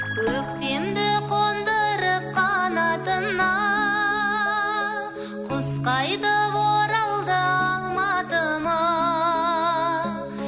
көктемді қондырып қанатына құс қайтып оралды алматыма